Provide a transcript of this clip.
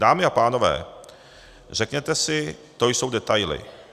Dámy a pánové, řeknete si, to jsou detaily.